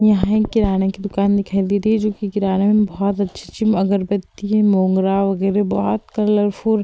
यहाँ एक किराने की दुकान दिखाई दे रही है जो कि किराने में बोहोत अच्छी अच्छी अगरबत्ती हैं। मोंगरा वगैरे बोहोत कलरफुल --